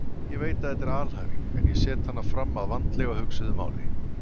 Ég veit að þetta er alhæfing en ég set hana fram að vandlega hugsuðu máli.